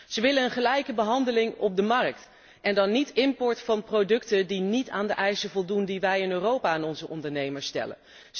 Ze willen een gelijke behandeling op de markt en dan niet import van producten die niet aan de eisen voldoen die wij in Europa aan onze ondernemers stellen.